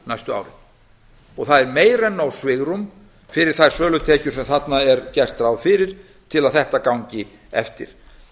næstu árin það er meira en nóg svigrúm fyrir þær sölutekjur sem þarna er gert ráð til að gangi eftir